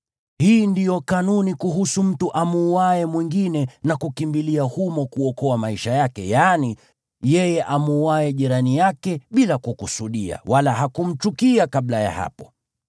Hii ndiyo kanuni kuhusu mtu amuuaye mwingine na kukimbilia humo kuokoa maisha yake, yaani, yeye amuuaye jirani yake bila kukusudia, wala hakumchukia kabla ya hapo.